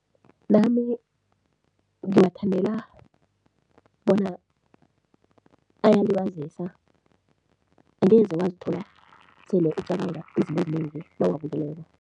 Nami ngiwathandela bona ayalibazisa, angeze wazithola sele ucabanga izinto ezinengi nawuwabukeleko.